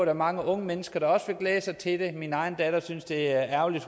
er mange unge mennesker der også vil glæde sig til det min egen datter synes det er ærgerligt